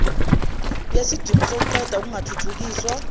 yesidingo sokuqeda ukungathuthukiswa